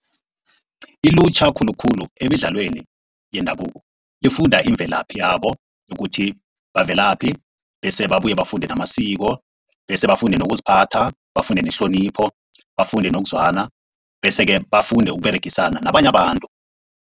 Ilutjha khulukhulu emidlalweni yendabuko. Lifunda imvelaphi yabo nokuthi bavelaphi bese babuye bafunde namasiko bese bafunde nokuziphatha. Bafunde nehlonipho, bafunde nokuzwana bese-ke bafunde noberegisana nabanye abantu.